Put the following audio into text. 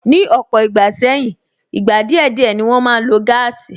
Ni ọ̀pọ̀ ìgbà sẹ́yìn, ìgbà díẹ̀ díẹ̀ ni wọn máa ń lo gáàsì